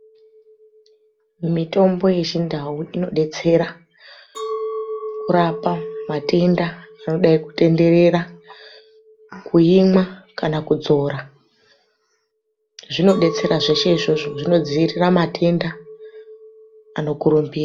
Mitombo yechindau inodetsera kurapa matenda anodai kutenderera. Kuimwa kana kudzora zvinodetsera zveshe izvozvo. Zvinodzivirira matenda anokurumbira.